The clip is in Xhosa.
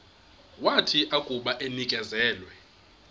wathi akuba enikezelwe